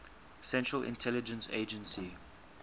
central intelligence agency